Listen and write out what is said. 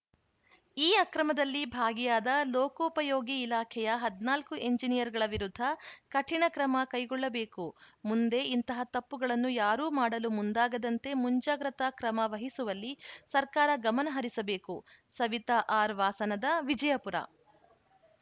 ಈ ಅಕ್ರಮದಲ್ಲಿ ಭಾಗಿಯಾದ ಲೋಕೋಪಯೋಗಿ ಇಲಾಖೆಯ ಹದಿನಾಲ್ಕು ಎಂಜಿನಿಯರ್‌ಗಳ ವಿರುದ್ಧ ಕಠಿಣ ಕ್ರಮ ಕೈಗೊಳ್ಳಬೇಕು ಮುಂದೆ ಇಂತಹ ತಪ್ಪುಗಳನ್ನು ಯಾರೂ ಮಾಡಲು ಮುಂದಾಗದಂತೆ ಮುಂಜಾಗ್ರತಾ ಕ್ರಮ ವಹಿಸುವಲ್ಲಿ ಸರ್ಕಾರ ಗಮನ ಹರಿಸಬೇಕು ಸವಿತಾ ಆರ್‌ ವಾಸನದ ವಿಜಯಪುರ